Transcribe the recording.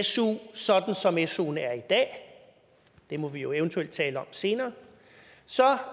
su sådan som suen er i dag det må vi jo eventuelt tale om senere så